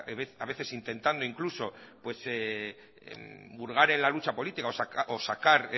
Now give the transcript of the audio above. a veces intentando incluso hurgar en la lucha política o sacar